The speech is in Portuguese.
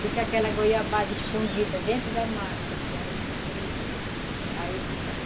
Fica aquela goiabada escondida dentro da massa e a gente frita.